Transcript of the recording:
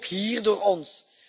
Ook hier door ons.